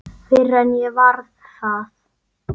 Fyrr en ég varð það.